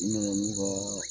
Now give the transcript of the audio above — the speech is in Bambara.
U nana n'u ka